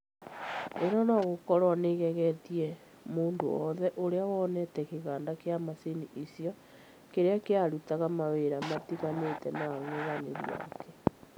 ĩno nogũkorwo nĩigegetie mũndũ wothe ũrĩa wonete kĩganda kĩa macini icio kĩrĩa kĩarutaga mawĩra matiganĩte na ang'ethanire ake